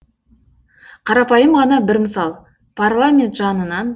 қарапайым ғана бір мысал парламент жанынан